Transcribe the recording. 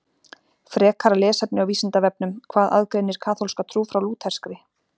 Frekara lesefni á Vísindavefnum Hvað aðgreinir kaþólska trú frá lúterskri?